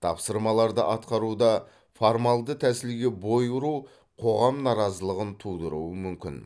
тапсырмаларды атқаруда формалды тәсілге бой ұру қоғам наразылығын тудыруы мүмкін